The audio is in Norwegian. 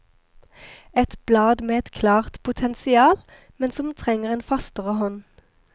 Et blad med et klart potensial, men som trenger en fastere hånd.